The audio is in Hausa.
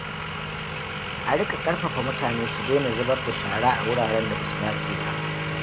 A riƙa ƙarfafa mutane su daina zubar da shara a wuraren da ba su dace ba.